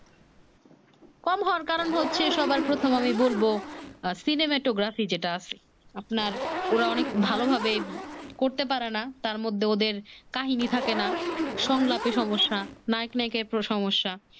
কম হন, টার কারণ হচ্ছে সবার প্রথম আমি বলব আহ cinematography আছে যেটা আপ্রনার ওরা অনেক ভালো ভাবে করতে পারে না তার মধ্যে ওদের কাহিনী থাকে না সংলাপে সমস্যা নায়ক নাইকার পুরো সমস্যা